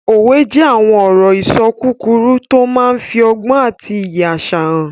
Òwe jẹ́ àwọn ọ̀rọ̀-ìṣọ kúkúrú tó máa n fi ọgbọ́n àti iyì àṣà hàn